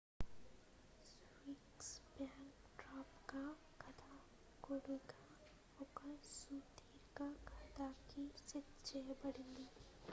sphinx backdrop గా కథకుడుగా ఒక సుదీర్ఘ కథకి సెట్ చేయబడ్డది